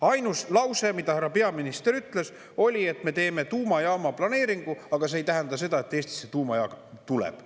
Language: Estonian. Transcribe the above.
Ainus lause, mida härra peaminister ütles, oli, et me teeme tuumajaama planeeringu, aga see ei tähenda seda, et Eestisse tuumajaam tuleb.